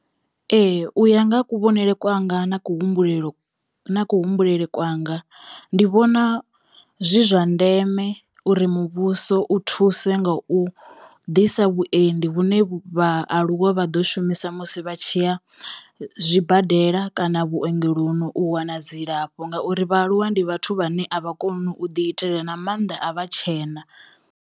Ee u ya nga ha kuvhonele kwanga na ku humbulelo na ku humbulele kwanga ndi vhona zwi zwa ndeme uri muvhuso u thuse nga u ḓisa vhuendi vhune vhaaluwa vha ḓo shumisa musi vha tshiya zwibadela kana vhuongeloni u wana dzilafho ngauri vhaaluwa ndi vhathu vhane a vha koni u ḓi itela na mannḓa a vha tshena.